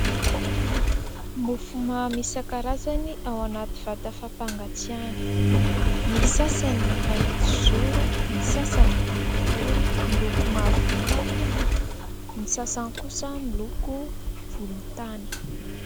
Mofomamy isan-karazany ao anaty vata fampangatsiahana. Ny sasany mahitsizoro, ny sasany boribory miloko mavomavo, ny sasany kosa miloko volontany.